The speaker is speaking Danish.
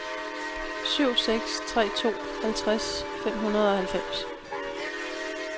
syv seks tre to halvtreds fem hundrede og halvfems